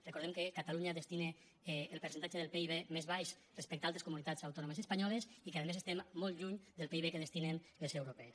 recordem que catalunya destina el percentatge del pib més baix respecte d’altres comunitats autònomes espanyoles i que a més a més estem molt lluny del pib que destinen les europees